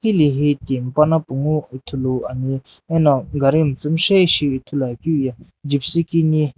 heli hi Tim pana punghu ithulu ane ano gari miitsiimii shae ithulu akeu ye gypsy keni.